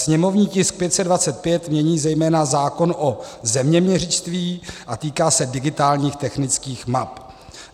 Sněmovní tisk 525 mění zejména zákon o zeměměřictví a týká se digitálních technických map.